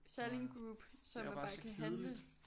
Nå ja. Det er bare så kedeligt!